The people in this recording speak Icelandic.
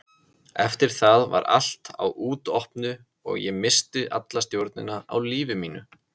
Eftir það var allt á útopnu og ég missti alla stjórn á lífi mínu.